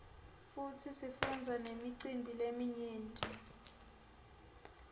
futsi sifundza nemicimbi leminyeti